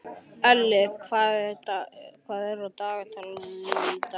Elli, hvað er í dagatalinu í dag?